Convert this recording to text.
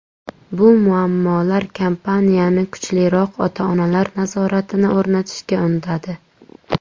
Bu muammolar kompaniyani kuchliroq ota-onalar nazoratini o‘rnatishga undadi.